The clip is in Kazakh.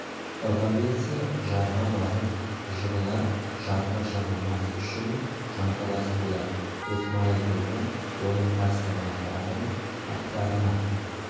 ыға берсе жарға барып жығылар жарға жығылмас үшін жанталас болар досмайыл тобы оның қарсылығына қарамай аттарына